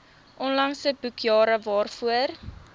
onlangse boekjare waarvoor